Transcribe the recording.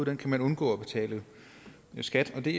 man undgå at betale skat af og det